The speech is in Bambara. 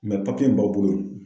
in b'aw bolo.